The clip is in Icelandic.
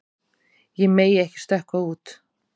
Ég megi ekki stökkva út.